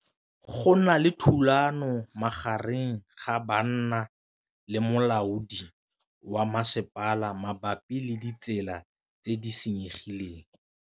Go na le thulanô magareng ga banna le molaodi wa masepala mabapi le ditsela tse di senyegileng.